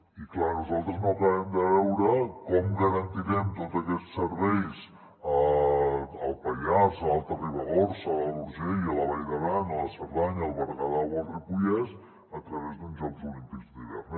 i clar nosaltres no acabem de veure com garantirem tots aquests serveis al pallars a l’alta ribagorça a l’alt urgell a la vall d’aran a la cerdanya al berguedà o al ripollès a través d’uns jocs olímpics d’hivern